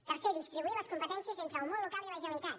tercer distribuir les competències entre el món local i la generalitat